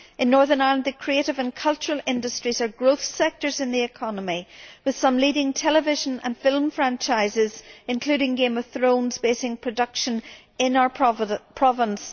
In Northern Ireland, the creative and cultural industries are growth sectors in the economy, with some leading television and film franchises, including Games of Thrones basing production in our province.